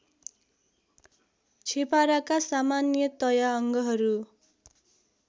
छेपाराका सामान्यतया अङ्गहरू